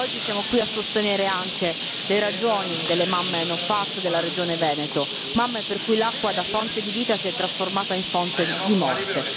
Oggi siamo qui a sostenere anche le ragioni delle mamme NO PFAS della regione Veneto, mamme per cui l'acqua da fonte di vita si è trasformata in fonte di morte.